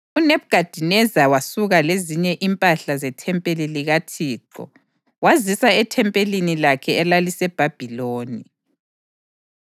UNebhukhadineza wasuka lezinye impahla zethempeli likaThixo wazisa ethempelini lakhe elaliseBhabhiloni.